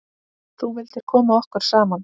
Þú vildir koma okkur saman.